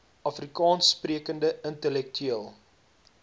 afrikaans sprekende intellektueel